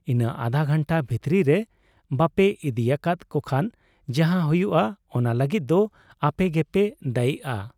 ᱤᱱᱟᱹ ᱟᱫᱷᱟ ᱜᱷᱟᱱᱴᱟ ᱵᱷᱤᱛᱤᱨ ᱨᱮ ᱵᱟᱯᱮ ᱤᱫᱤᱭᱟᱠᱟᱫ ᱠᱚᱠᱷᱟᱱ ᱡᱟᱦᱟᱸ ᱦᱩᱭᱩᱜ ᱟ, ᱚᱱᱟ ᱞᱟᱹᱜᱤᱫ ᱫᱚ ᱟᱯᱮᱜᱮᱯᱮ ᱫᱟᱹᱭᱤᱜ ᱟ ᱾